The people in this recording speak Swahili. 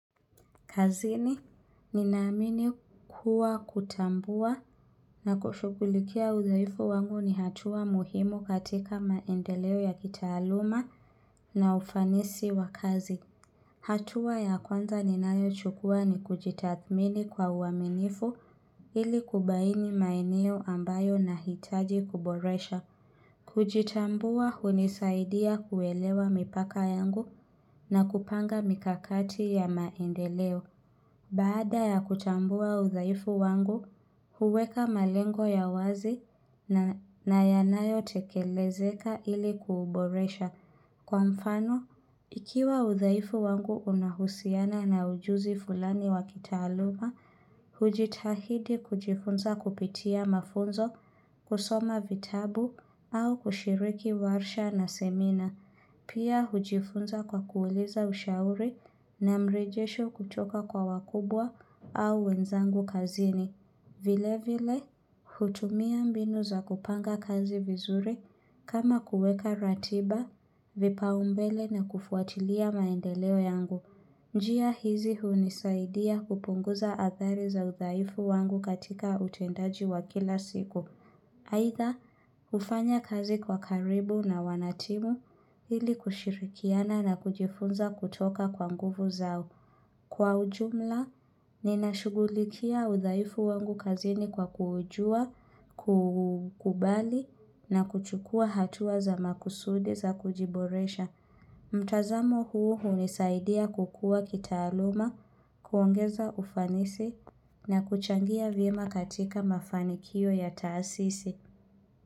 Kazini, ninaamini kuwa kutambua na kushughulikia uzoefu wangu ni hatua muhimu katika maendeleo ya kitaaluma na ufanisi wa kazi. Hatua ya kwanza ninayochukua ni kujitathmini kwa uaminifu ili kubaini maeneo ambayo nahitaji kuboresha. Kujitambua hunisaidia kuelewa mipaka yangu na kupanga mikakati ya maendeleo. Baada ya kutambua udhaifu wangu, huweka malengo ya wazi na yanayotekelezeka ili kuuboresha. Kwa mfano, ikiwa udhaifu wangu unahusiana na ujuzi fulani wakitaaluma, hujitahidi kujifunza kupitia mafunzo, kusoma vitabu, au kushiriki warsha na semina. Pia hujifunza kwa kuuliza ushauri na mrejesho kutoka kwa wakubwa au wenzangu kazini. Vile vile, hutumia mbinu za kupanga kazi vizuri kama kuweka ratiba, vipaumbele na kufuatilia maendeleo yangu. Njia hizi hunisaidia kupunguza athari za udhaifu wangu katika utendaji wa kila siku. Aidha, hufanya kazi kwa karibu na wanatimu ili kushirikiana na kujifunza kutoka kwa nguvu zao. Kwa ujumla, ninashughulikia udhaifu wangu kazini kwa kujua, kukubali na kuchukua hatua za makusudi za kujiboresha. Mtazamo huu hunisaidia kukua kitaaluma, kuongeza ufanisi na kuchangia vyema katika mafanikio ya taasisi.